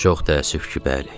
Çox təəssüf ki, bəli.